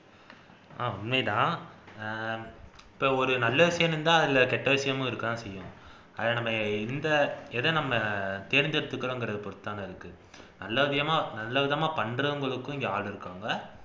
ஆஹ் உண்மைதான் அஹ் இப்ப ஒரு நல்ல விஷயம் இருந்தா அதுல கெட்ட விசயமும் இருக்கதான் செய்யும் அதை நம்ம எந்த எதை நம்ம தேர்ந்தெடுத்துக்குறோம்ங்கிறத பொருத்துதான இருக்கு நல்ல நல்ல விதமா பண்றவுங்களுக்கும் இங்க ஆள் இருக்காங்க